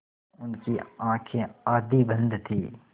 उनकी आँखें आधी बंद थीं